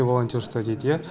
волонтерство дейді иә